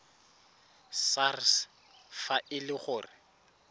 sars fa e le gore